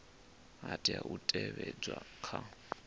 ha tea u teavhedzwa kha